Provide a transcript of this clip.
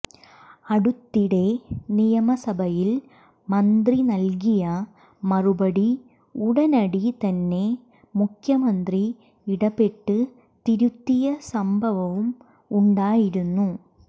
അടുത്തിടെ നിയമസഭയിൽ മന്ത്രി നൽകിയ മറുപടി ഉടനടി തന്നെ മുഖ്യമന്ത്രി ഇടപെട്ട് തിരുത്തിയ സംഭവവും ഉണ്ടായിരുന്നു